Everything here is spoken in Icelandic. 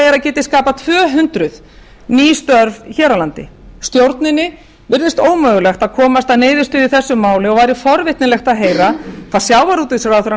er að geti skapað tvö hundruð ný störf hér á landi stjórninni virðist ómögulegt að komast að niðurstöðu í þessu máli og væri forvitnilegt að heyra hvað hæstvirtur